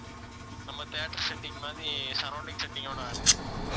நம்ம theater setting மாதிரி surrounding setting ஓட வேணுமா?